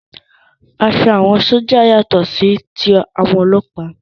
Aṣọ àwọn sójà yàtọ̀ sí ti àwọn ọlọ́ọ̀pá